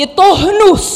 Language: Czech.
Je to hnus!